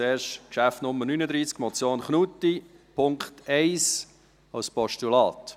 Zuerst Traktandum Nummer 39, Motion Knutti, Punkt 1 als Postulat: